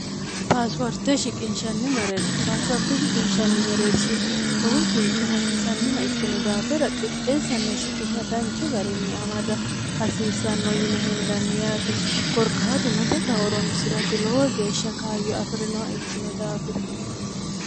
paasuwarte shiqinshanni mereershi paasiwarte shiqinshanni mereershi lowo geeshsha hasiisannoha ikkino daafira qixxeessanna shiqisha danchu garinni amada hasiisanno yine hendanni yaate korkaatuno daga oronsi'rati lowo geeshsha kayyu afi'rinoha ikkino daafira